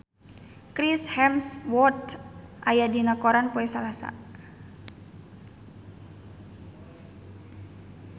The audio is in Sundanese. Chris Hemsworth aya dina koran poe Salasa